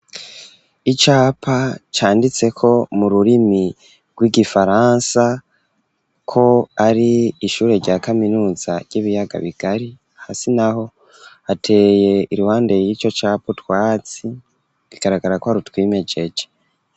Icapa ,canditseko mu rurimi rw'igifaransa, ko ari ishure rya kaminuza ry'ibiyaga bigari ,hasi naho ateye iruhande y'ico capa utwatsi bigaragara kwa rutwimejeje.